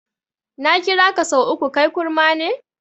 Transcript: Na kiraka sau uku, kai kurma ne?